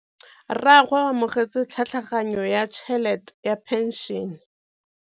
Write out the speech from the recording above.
Rragwe o amogetse tlhatlhaganyô ya tšhelête ya phenšene.